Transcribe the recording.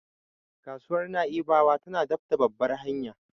Kasuwar Na'ibawa tana daf da babbar hanya.